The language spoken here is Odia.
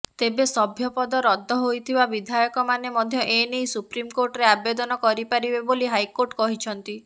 ତେବେ ସଭ୍ୟପଦ ରଦ୍ଦ ହୋଇଥିବା ବିଧାୟକମାନେ ମଧ୍ୟ ଏ ନେଇ ସୁପ୍ରମକୋର୍ଟରେ ଆବେଦନ କରିପାରିବେ ବୋଲି ହାଇକୋର୍ଟ କହିଛନ୍ତି